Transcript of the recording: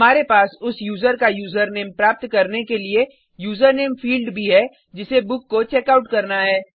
हमारे पास उस यूज़र का यूज़रनेम प्राप्त करने के लिए यूजरनेम फील्ड भी है जिसे बुक को चेकआउट करना है